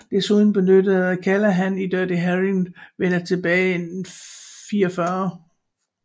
Desuden benyttede Callahan i Dirty Harry vender tilbage en 44